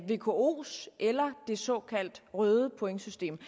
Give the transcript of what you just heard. vkos eller det såkaldte røde pointsystem